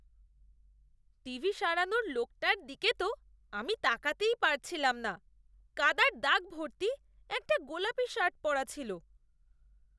TV সারানোর লোকটার দিকে তো আমি তাকাতেই পারছিলাম না। কাদার দাগ ভর্তি একটা গোলাপী শার্ট পরা ছিল।